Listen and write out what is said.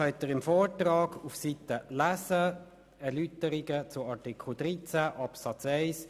Im Vortrag sind die entsprechenden Erläuterungen zu Artikel 13 Absatz 1 zu lesen: